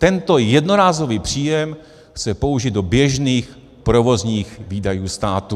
Tento jednorázový příjem chce použít do běžných provozních výdajů státu.